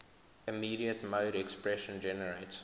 immediate mode expression generates